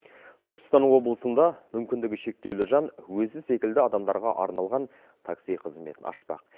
түркістан облысында мүмкіндігі шектеулі жан өзі секілді адамдарға арналған такси қызметін ашпақ